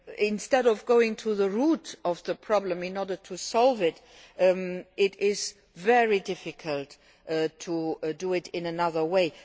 Instead of going to the root of the problem in order to solve it, it is very difficult to do it in another way.